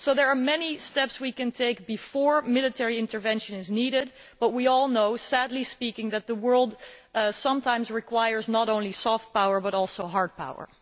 So there are many steps we can take before military intervention is needed but we all know, sadly, that the world sometimes requires not only soft power, but also hard power.